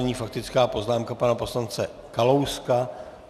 Nyní faktická poznámka pana poslance Kalouska.